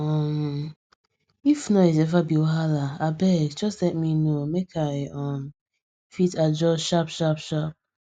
um if noise ever be wahala abeg just let me know make i um fit adjust sharp sharp sharp